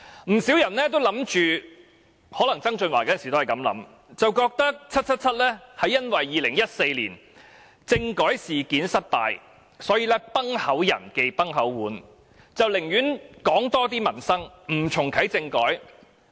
不少人都認為曾俊華當時也這樣想，便覺得 "777" 是因為2014年政改事件失敗，所以"崩口人忌崩口碗"，寧願多談民生，不重啟政改。